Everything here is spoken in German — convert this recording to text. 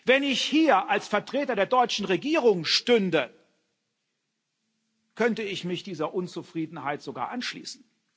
Wenn ich hier als Vertreter der deutschen Regierung stünde, könnte ich mich dieser Unzufriedenheit sogar anschließen.